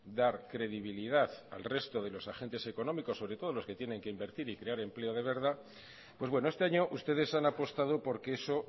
dar credibilidad al resto de los agentes económicos sobre todo a los que tienen que invertir y crear empleo de verdad pues bueno este año ustedes han apostado porque eso